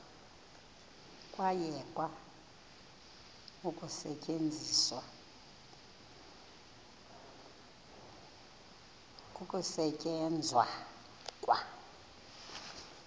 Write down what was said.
kwayekwa ukusetyenzwa kwa